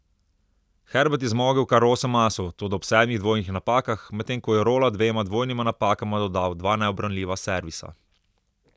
Herbert je zmogel kar osem asov, toda ob sedmih dvojnih napakah, medtem ko je Rola dvema dvojnima napakama dodal dva neubranljiva servisa.